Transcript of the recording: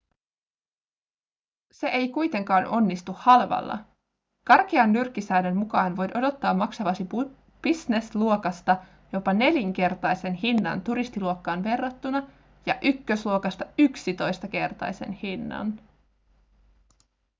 se ei kuitenkaan onnistu halvalla karkean nyrkkisäännön mukaan voit odottaa maksavasi business-luokasta jopa nelinkertaisen hinnan turistiluokkaan verrattuna ja ykkösluokasta yksitoistakertaisen hinnan